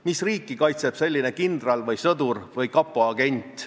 Mis riiki kaitseb selline kindral või sõdur või kapo agent?